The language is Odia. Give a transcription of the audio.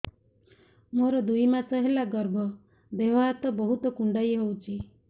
ମୋର ଦୁଇ ମାସ ହେଲା ଗର୍ଭ ଦେହ ହାତ ବହୁତ କୁଣ୍ଡାଇ ହଉଚି